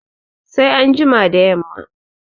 Sai an jima da yamma